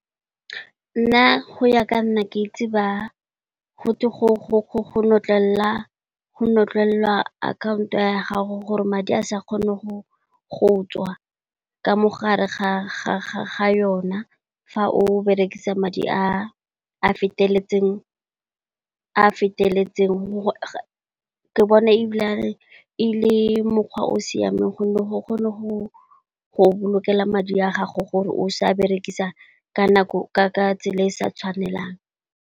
Nna, go ya ka nna ke itse ba gotwe go notlelelwa akhaonto ya gago gore madi a sa kgone go tswa ka mogare ga yona fa o berekisa madi a feteletseng, ke bona ebile e le mokgwa o o siameng gonne go kgone go boloka madi a gago gore o sa a berekisa ka nako, ka ka tsela e e sa tshwanelang.